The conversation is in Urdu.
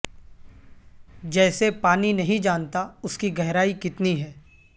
جیسے پانی نہیں جانتا اس ک گہرائی کتنی ہے